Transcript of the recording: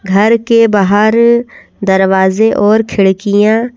घर के बाहर दरवाजे और खिड़कियाँ--